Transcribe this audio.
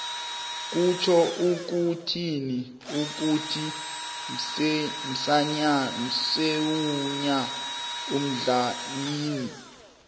kutjho ukuthini ukuthi umswenya umdlalina